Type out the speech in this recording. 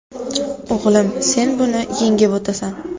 O‘g‘lim, sen buni ham yengib o‘tasan.